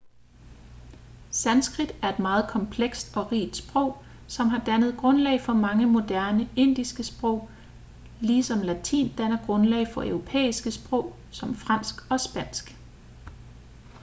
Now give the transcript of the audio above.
sanskrit er et meget komplekst og rigt sprog som har dannet grundlag for mange moderne indiske sprog ligesom latin danner grundlag for europæiske sprog som fransk og spansk